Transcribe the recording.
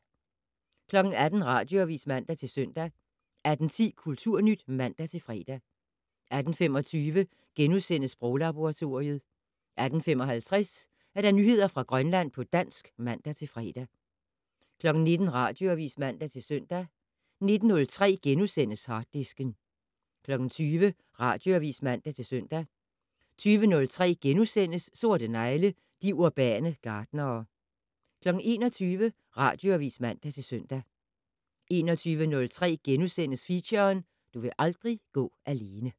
18:00: Radioavis (man-søn) 18:10: Kulturnyt (man-fre) 18:25: Sproglaboratoriet * 18:55: Nyheder fra Grønland på dansk (man-fre) 19:00: Radioavis (man-søn) 19:03: Harddisken * 20:00: Radioavis (man-søn) 20:03: Sorte negle: De urbane gartnere * 21:00: Radioavis (man-søn) 21:03: Feature: Du vil aldrig gå alene *